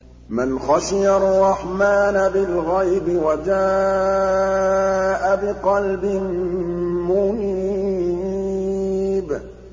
مَّنْ خَشِيَ الرَّحْمَٰنَ بِالْغَيْبِ وَجَاءَ بِقَلْبٍ مُّنِيبٍ